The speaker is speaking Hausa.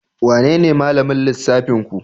Wanene malamin lissafinku?